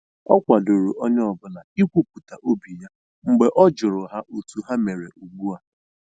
O kwadoro onye ọ bụla i kwupụta obi ya mgbe ọ jụrụ ha otu ha mere ugbu a